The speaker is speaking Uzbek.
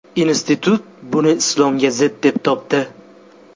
Institut buni islomga zid deb topdi.